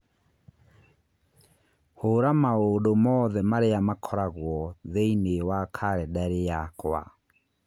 hũra maũndũ mothe marĩa makoragwo thĩinĩ wa kalendarĩ yakwa